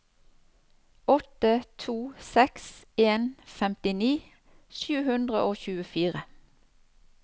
åtte to seks en femtini sju hundre og tjuefire